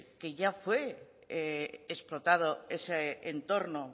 que ya fue explotado ese entorno